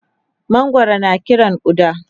mangwaro na Kiran ƙuda